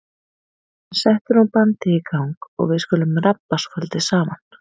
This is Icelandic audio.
En settu nú bandið í gang og við skulum rabba svolítið saman.